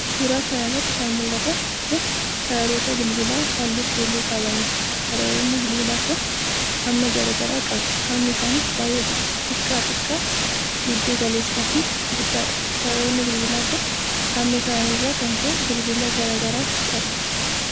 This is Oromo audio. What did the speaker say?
Suura kana irratti kan mul'atan kun, sararoota bilbilaa haalluu keelloo qabaniiti. Sararoonni bilbilaa kun hamma gara garaa qabu. Hammi isaanis ,baay'ee xiqqaa, xiqqaa, giddu-galeessa fi guddaa dha. Sararoonni bilbilaa kun, hamma isaanii irraa kan ka'e bilbila garaagaraatti ta'u.